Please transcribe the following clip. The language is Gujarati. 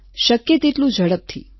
શક્ય તેટલું ઝડપથી